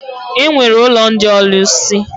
E nwere ụlọ ndị ọlụsị.